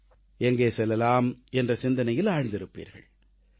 விடுமுறைகளை எப்படி அனுபவிக்கலாம் எங்கே செல்லலாம் என்ற சிந்தனையில் ஆழ்ந்திருப்பீர்கள்